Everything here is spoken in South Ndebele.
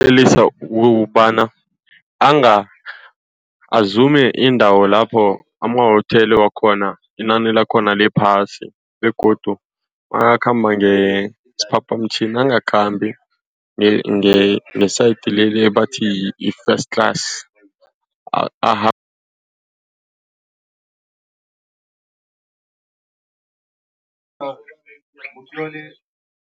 ukobana azume iindawo lapho amawotela wakhona inani lakhona liphasi begodu nakakhamba ngesiphaphamtjhini angakhambi nge-side leli ebathi yi-first class